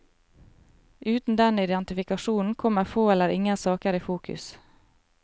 Uten den identifikasjonen kommer få eller ingen saker i fokus.